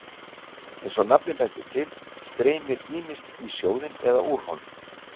Eins og nafnið bendir til streymir ýmist í sjóðinn eða úr honum.